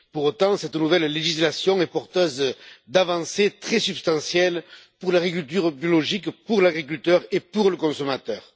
Pour autant, cette nouvelle législation est porteuse d'avancées très substantielles pour l'agriculture biologique, pour l'agriculteur et pour le consommateur.